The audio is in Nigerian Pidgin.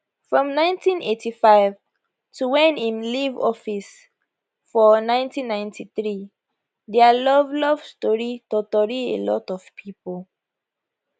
from 1985 to wen im leave office for 1993 dia love love story totori a lot of pipo